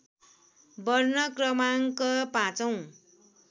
वर्ण क्रमाङ्क पाँचौँ